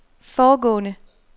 foregående